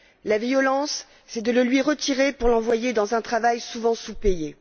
La violence, c'est de le lui retirer pour l'envoyer dans un travail souvent sous payé.